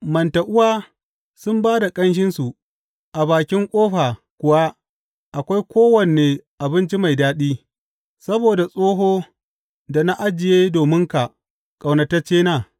Manta uwa sun ba da ƙanshinsu, a bakin ƙofa kuwa akwai kowane abinci mai daɗi, sabo da tsoho, da na ajiye dominka, ƙaunataccena.